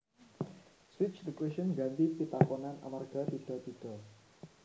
Switch the question ngganti pitakonan amarga tidha tidha